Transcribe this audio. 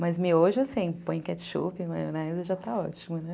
Mas miojo, assim, põe ketchup, maionese, já está ótimo, né?